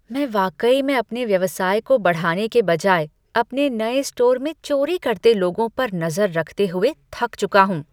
मैं वाकई में अपने व्यवसाय को बढ़ाने के बजाय अपने नए स्टोर में चोरी करते लोगों पर नजर रखते हुए थक चुका हूँ।